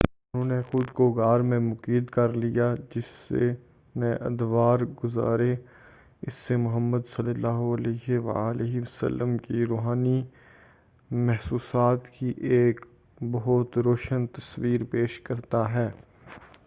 اُنہوں نے خُود کو غار میں مقید کردیا، جس نے ادوار گُزارے، اس سے محمد ﷺ کی رُوحانی محسوسات کی ایک بہت روشن تصویر پیش کرتا ہے۔